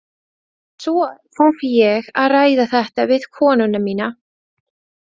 Svo þarf ég að ræða þetta við konuna mína.